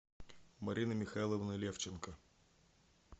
марины михайловны левченко